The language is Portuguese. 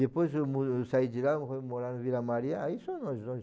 Depois eu mo eu saí de lá, fui morar na Vila Maria, aí só nós dois.